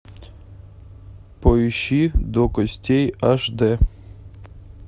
поищи до костей аш де